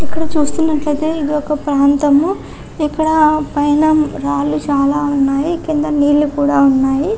ఇక్కడ చూస్తున్నట్లైతే ఇది ఒక ప్రాంతము ఇక్కడ పైన రాళ్ళూ చాల ఉన్నాయి కింద నీర్లు కూడా ఉన్నాయి.